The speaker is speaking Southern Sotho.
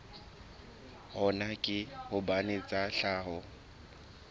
hona ke hobane tsa tlhaho